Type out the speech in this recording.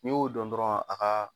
Ni y'o dɔn dɔrɔn a gaa